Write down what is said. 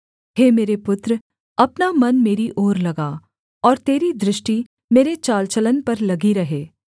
हे मेरे पुत्र अपना मन मेरी ओर लगा और तेरी दृष्टि मेरे चाल चलन पर लगी रहे